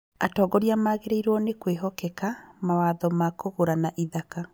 Atongoria magĩrĩirwo nĩ kwĩhokeka mawatho makũgũrana ithaka